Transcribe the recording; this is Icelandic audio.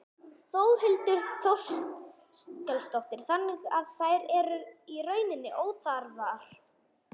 Þórhildur Þorkelsdóttir: Þannig að þær eru í rauninni óþarfar?